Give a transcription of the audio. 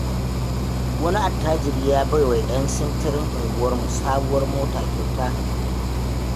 wani attajiri ya baiwa 'yan sintirin unguwarmu sabuwar mota kyauta.